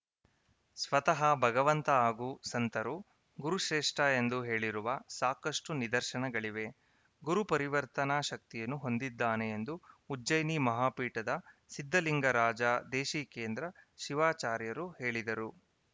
ಸ್ವತಹ ಭಗವಂತ ಹಾಗು ಸಂತರು ಗುರುಶ್ರೇಷ್ಠ ಎಂದು ಹೇಳಿರುವ ಸಾಕಷ್ಟುನಿದರ್ಶನಗಳಿವೆ ಗುರು ಪರಿವರ್ತನ ಶಕ್ತಿಯನ್ನು ಹೊಂದಿದ್ದಾನೆ ಎಂದು ಉಜ್ಜಯಿನಿ ಮಹಾ ಪೀಠದ ಸಿದ್ದಲಿಂಗರಾಜ ದೇಶಿಕೇಂದ್ರ ಶಿವಾಚಾರ್ಯರು ಹೇಳಿದರು